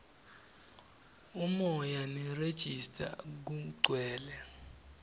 umoya nerejista kugcwele